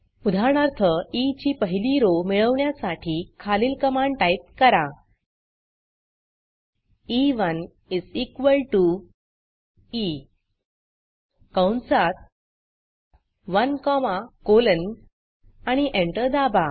उदाहरणार्थ ई ची पहिली rowरो मिळवण्यासाठी खालील कमांड टाईप करा ई1 ई कंसात 1 कॉमा कोलन आणि एंटर दाबा